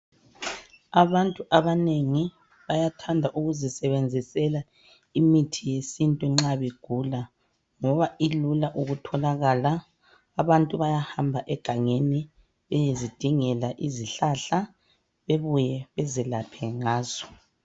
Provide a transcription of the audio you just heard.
Abantu abanengi bayathanda ukuzisebenzisela imithi yesintu nxa begula ngoba ilula ukutholakala. Abantu bayahamba egangeni beyezidingela izihlahla bebuye bezelaphe ngazo.